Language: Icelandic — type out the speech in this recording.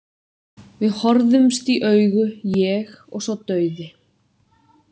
Við horfumst í augu, ég og sá dauði.